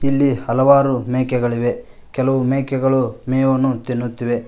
ಇಲ್ಲಿಯ ಹಲವಾರು ಮೇಕೆಗಳಿವೆ ಕೆಲವು ಮೇಕೆಗಳು ಮೇವನ್ನು ತಿನ್ನುತ್ತಿವೆ.